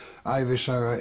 ævisaga